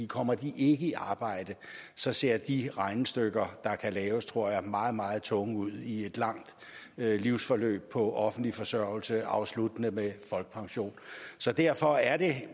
kommer de ikke i arbejde så ser de regnestykker der kan laves tror jeg meget meget tunge ud i et langt livsforløb på offentlig forsørgelse afsluttende med folkepension så derfor er det